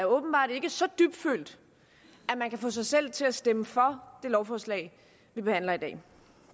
åbenbart ikke er så dybtfølt at man kan få sig selv til at stemme for det lovforslag vi behandler i dag